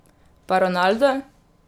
Pa Ronaldo?